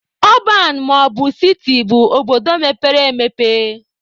Ọban maọbụ siti bụ obodo mepere emepe